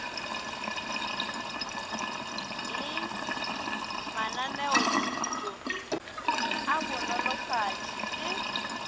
le mananeothuto a banolofatši le